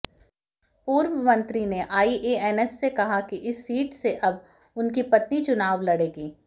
पूर्व मंत्री ने आईएएनएस से कहा कि इस सीट से अब उनकी पत्नी चुनाव लड़ेंगी